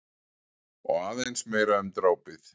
Og aðeins meira um drápið.